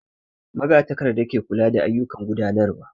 Magatakarda ke kula da ayyukan gudanarwa